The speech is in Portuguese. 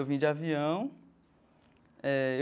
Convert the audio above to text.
Eu vim de avião eh.